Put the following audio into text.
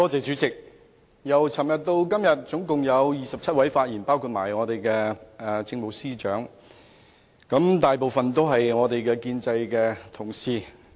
主席，由昨天至今天共有27人發言，包括政務司司長，但大部分發言的都是反對派同事。